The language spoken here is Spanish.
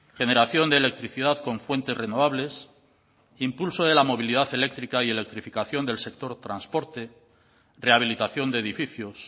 generación de electricidad con fuentes renovables impulso de la movilidad eléctrica y electrificación del sector transporte rehabilitación de edificios